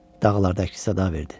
Dağlarda əks sada verdi.